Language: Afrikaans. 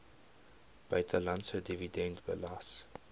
buitelandse dividend belas